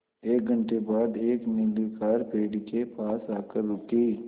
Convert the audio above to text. एक घण्टे बाद एक नीली कार पेड़ के पास आकर रुकी